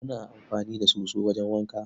Muna amfani da soso wajen wanka.